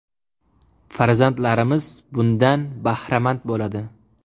Farzandlarimiz bundan bahramand bo‘ladi.